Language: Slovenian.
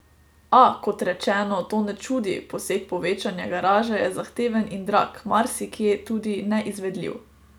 A, kot rečeno, to ne čudi, poseg povečanja garaže je zahteven in drag, marsikje tudi neizvedljiv.